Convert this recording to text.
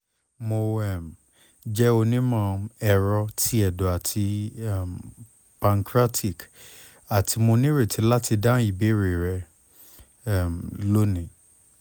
mo um jẹ onimọ-ẹrọ ti ẹdọ ati um pancreatic ati mo nireti lati dahun ibeere rẹ um loni